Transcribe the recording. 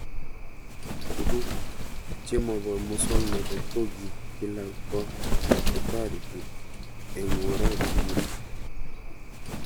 Tug'uk chemopo muswognatet ko kii kila ko kitareti eng'oret nitok